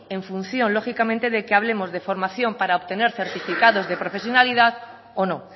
en función lógicamente de que hablemos de formación para obtener certificados de profesionalidad o no